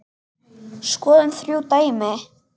Skoðum þrjú dæmi